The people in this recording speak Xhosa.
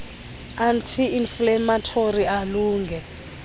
anti inflammatory alunge